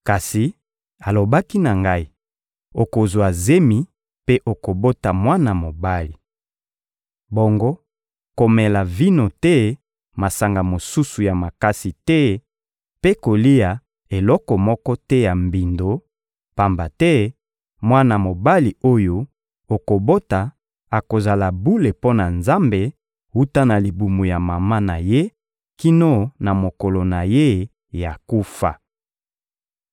Kasi alobaki na ngai: ‹Okozwa zemi mpe okobota mwana mobali. Bongo komela vino to masanga mosusu ya makasi te mpe kolia eloko moko te ya mbindo, pamba te mwana mobali oyo okobota akozala bule mpo na Nzambe wuta na libumu ya mama na ye kino na mokolo na ye ya kufa.›»